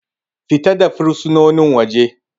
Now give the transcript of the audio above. Fita da fursunonin waje.